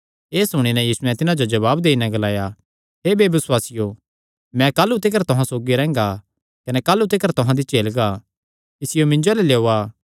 एह़ सुणी नैं यीशुयैं तिन्हां जो जवाब देई नैं ग्लाया हे बेबसुआसियो मैं काह़लू तिकर तुहां सौगी रैंह्गा कने काह़लू तिकर तुहां दी झेलगा इसियो मिन्जो अल्ल लेयोआ